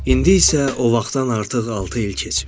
İndi isə o vaxtdan artıq altı il keçib.